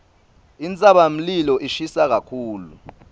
intsabamlilo ishisa kakhulu